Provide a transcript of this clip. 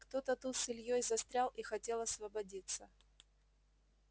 кто-то тут с ильёй застрял и хотел освободиться